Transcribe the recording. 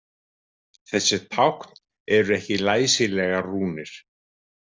Þessi tákn eru ekki læsilegar rúnir.